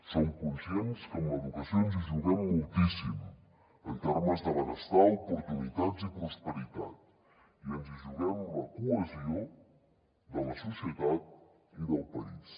som conscients que amb l’educació ens hi juguem moltíssim en termes de benestar oportunitats i prosperitat i ens hi juguem la cohesió de la societat i del país